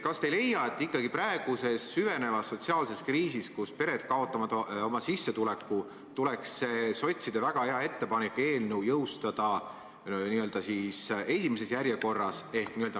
Kas te ei leia, et praeguses süvenevas sotsiaalses kriisis, kus pered kaotavad oma sissetuleku, tuleks see sotside väga hea ettepanek ehk otsuse eelnõu jõustada esimeses järjekorras?